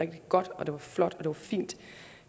godt og flot og fint